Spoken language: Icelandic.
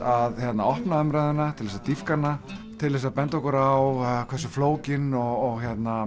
að opna umræðuna til að dýpka hana til þess að benda okkur á hversu flókin og